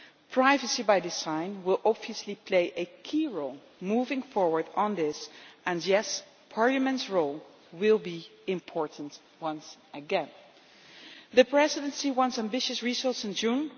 Privacy by design will, obviously, play a key role moving forward on this, and yes, Parliament's role will be important once again. The Presidency wants ambitious results in June.